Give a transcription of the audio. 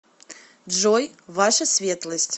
джой ваша светлость